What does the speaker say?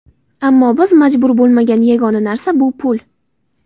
Ammo biz majbur bo‘lmagan yagona narsa bu pul.